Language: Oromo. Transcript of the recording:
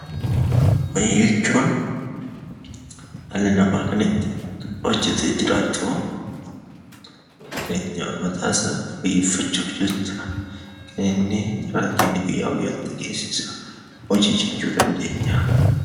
Hojii jechuun dhalli namaa kan itti hojjetee jiraatu; jireenya mataa isaa fooyyeffachuuf jecha kan inni carraaqqii guyyaa guyyaatti taasisu hojii jechuun dandeenya.